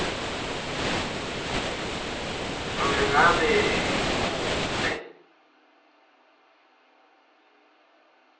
nobe ngabe ngukuphi